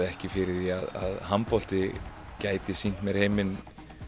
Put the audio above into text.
ekki fyrir því að handbolti gæti sýnt mér heiminn